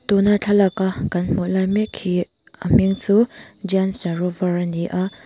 tuna thlalak a kan hmuh lai mek hi a hming chu ani a.